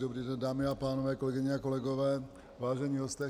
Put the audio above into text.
Dobrý den, dámy a pánové, kolegyně a kolegové, vážení hosté.